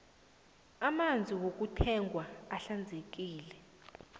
amanzi wokuthengwa ahlanzekile